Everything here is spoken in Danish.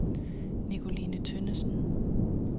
Nicoline Tønnesen